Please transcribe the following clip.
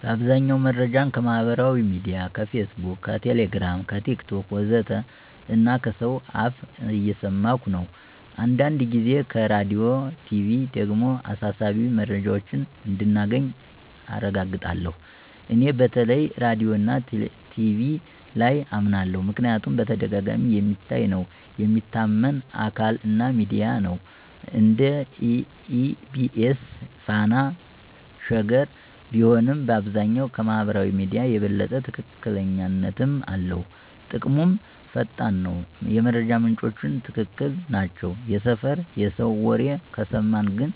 በአብዛኛው መረጃን ከማህበራዊ ሚድያ (Facebook, Telegram, TikTok ወዘተ) እና ከሰው አፍ እየሰማኩ ነው። አንዳንድ ጊዜ ከራዲዮና ቲቪ ደግሞ አሳሳቢ መረጃዎችን እንደገና አረጋግጣለሁ። እኔ በተለይ ራዲዮና ቲቪ ላይ አመናለሁ ምክንያቱም በተደጋጋሚ የሚታይ ነው፣ የሚታመን አካል እና ሚዲያ ነው (እንደ EBC፣ Fana፣ Sheger ቢሆንም)፣ በአብዛኛው ከማህበራዊ ሚዲያ የበለጠ ትክክለኛነትም አለው። ጥቅሙም ፈጣን ነው፣ የመረጃ ምንጮቹም ትክክል ናቸው። የሰፈር የሰው ወሬ ከሰማን ግን